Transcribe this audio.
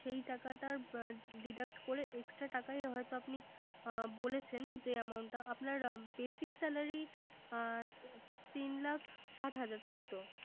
সেই টাকাটার Deduct করে Extra টাকা হয়ত বলেছেন যে Amount টা। আপনার Basic salary তিন লাখ ষাট হাজার তাইতো